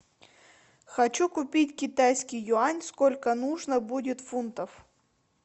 хочу купить китайский юань сколько нужно будет фунтов